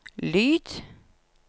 lyd